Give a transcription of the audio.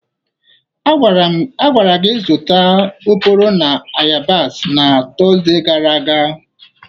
A gwara gi zụta oporo na ayabasị na Tọzde gara aga!